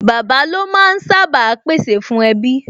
Bàbá lo máa ń sá bàa pè sè fún ẹbí